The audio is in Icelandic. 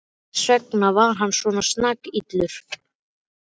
Þess vegna er hann svona snakillur.